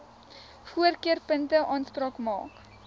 voorkeurpunte aanspraak maak